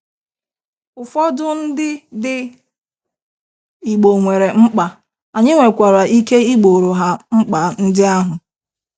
Ụfọdụ ndị dị igbo nwere mkpa, anyị nwekwara ike igboro ha mkpa ndị ahụ